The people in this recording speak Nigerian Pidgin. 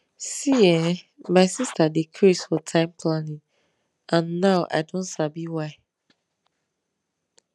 see[um]my sister dey craze for time planning and now i don sabi why